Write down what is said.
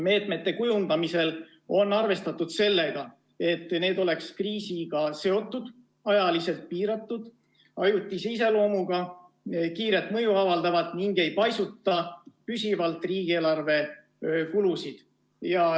Meetmete kujundamisel on arvestatud sellega, et need oleks kriisiga seotud, ajaliselt piiratud, ajutise iseloomuga, kiiret mõju avaldavad ning ei paisutaks püsivalt riigieelarve kulusid.